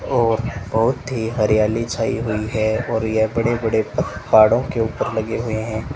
और बहोत ही हरियाली छाई हुई है और ये बड़े बड़े पहाड़ों के ऊपर लगे हुए हैं।